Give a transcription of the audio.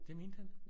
Det mente han